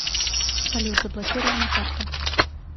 салют заблокирована карта